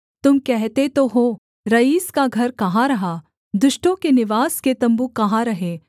तुम कहते तो हो रईस का घर कहाँ रहा दुष्टों के निवास के तम्बू कहाँ रहे